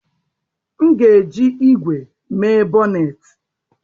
M ga-eji ígwè mee bọnnetị